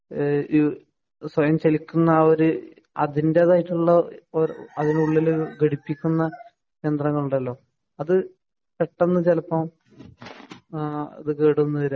സ്വയം ചലിക്കുന്ന അത് അതിന്റേതായിട്ടുള്ള ഒരു അതിനുള്ളിൽ ഘടിപ്പിക്കുന്ന യന്ത്രങ്ങൾ ഉണ്ടല്ലോ അത് പെട്ടെന്ന് ചിലപ്പോ കേടു വന്നു എന്ന് വരാം